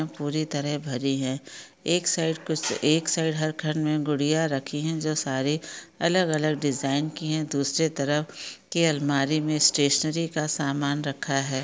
पूरी तरह भरी हैं एक साइड कुछ एक साइड हर घर में गुड़िया रखी हैं जो सारे अलग अलग डिजाइन की हैं दूसरे तरफ के अलमारी में स्टेशनरी का समान रखा हैं।